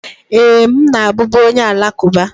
Ee, m na-abụbu onye Alakụba.